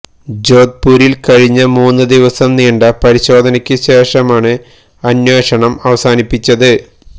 ജോധ്പുരില് കഴിഞ്ഞ മൂന്നു ദിവസം നീണ്ട പരിശോധനയ്ക്കു ശേഷമാണ് അന്വേഷണം അവസാനിപ്പിച്ചത്